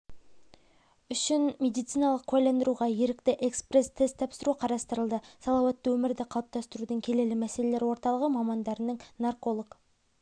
үшін медициналық куәландыруға ерікті экспресс тест тапсыру қарастырылды салауатты өмірді қалыптастырудың келелі мәселері орталығы мамандарының нарколог